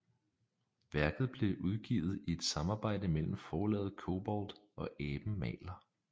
Værket blev udgivet i et samarbejde mellem Forlaget Cobolt og Aben maler